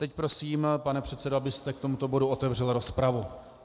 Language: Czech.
Teď prosím, pane předsedo, abyste k tomuto bodu otevřel rozpravu.